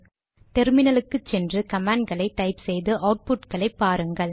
டெர்மினலுக்கு சென்று கமாண்ட் களை டைப் செய்து அவுட்புட் களை பாருங்கள்